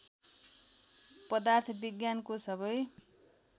पदार्थ विज्ञानको सबै